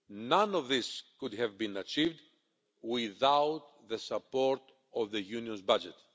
None of this could have been achieved without the support of the Union's budget.